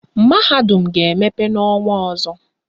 Mahadum ha ga-emepe n' ọnwa ọzọ.